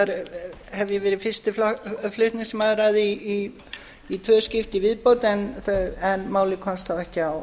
hef ég verið fyrsta f að því í tvö skipti í viðbót en málið komst þá ekki á